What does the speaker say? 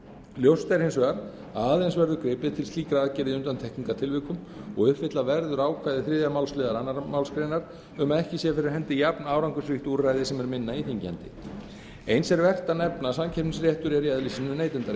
ljóst er hins vegar að aðeins verður gripið til slíkra aðgerða í undantekningartilvikum og uppfylla verður ákvæði þriðju málsl annarri málsgrein um að ekki sé fyrir hendi jafnárangursríkt úrræði sem er minna íþyngjandi eins er vert að nefna að samkeppnisréttur er í eðli sínu